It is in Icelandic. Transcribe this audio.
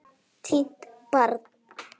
Týnt barn